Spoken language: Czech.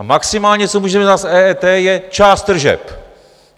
A maximálně co můžeme udělat s EET, je část tržeb.